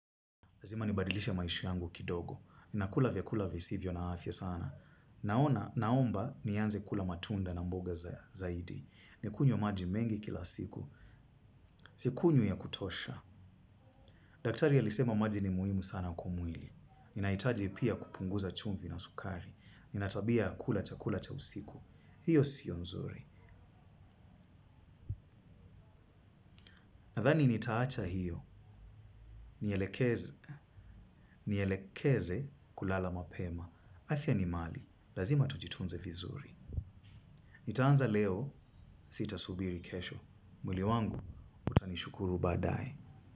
Lazima nibadilishe maisha yangu kidogo. Nakula vyakula visivyo na afya sana. Naona naomba nianze kula matunda na mboga zaidi. Ni kunywe maji mengi kila siku. Sikunywi ya kutosha. Daktari alisema maji ni muhimu sana kwa mwili. Ninahitaji pia kupunguza chumvi na sukari. Ninatabia ya kula chakula cha usiku. Hiyo siyo nzuri. Nadhani nitaacha hiyo. Nielekeze kulala mapema. Afya ni mali. Lazima tujitunze vizuri. Nitaanza leo sitasubiri kesho. Mwili wangu utanishukuru baadae.